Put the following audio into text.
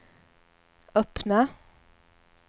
öppna